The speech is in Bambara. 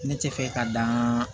Ne tɛ fɛ ka dan